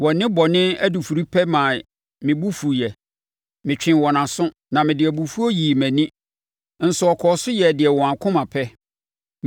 Wɔn nnebɔne adufudepɛ maa me bo fuiɛ; metwee wɔn aso, na mede abufuo yii mʼani, nso wɔkɔɔ so yɛɛ deɛ wɔn akoma pɛ.